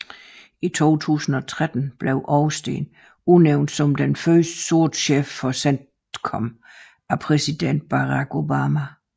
I 2013 blev Austin udnævnt som den første sorte chef for CENTCOM af præsident Barack Obama